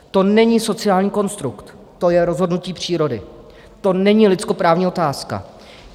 To není sociální konstrukt, to je rozhodnutí přírody, to není lidskoprávní otázka.